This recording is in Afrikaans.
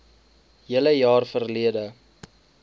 hele jaar verlede